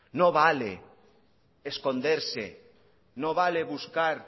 no vale esconderse no vale buscar